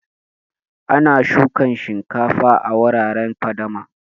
Ana shukan shinkafa a wuraren fadama